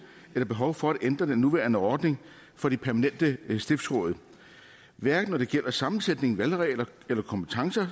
eller behov for at ændre den nuværende ordning for de permanente stiftsråd hverken når det gælder sammensætning valgregler kompetencer